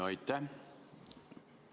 Aitäh!